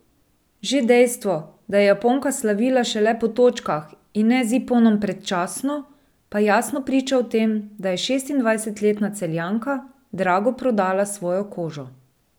Že dejstvo, da je Japonka slavila šele po točkah in ne z iponom predčasno, pa jasno priča o tem, da je šestindvajsetletna Celjanka drago prodala svojo kožo.